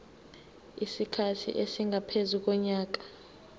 isikhathi esingaphezu konyaka